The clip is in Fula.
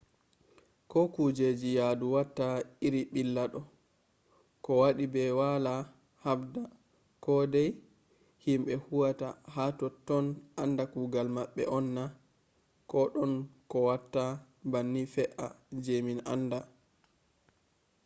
ko kujeji yadu watta iri billa do ko wadi be wala habda ko dai? himbe huwata ha totton anda kugal mabbe on na ? ko don ko watta banni fe’a je min anda?